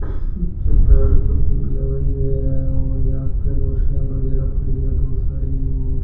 निचे पेड़ पौधे भी लगाए गए है और इया आगे कुर्सियां वगैरा है बहुत सारी और --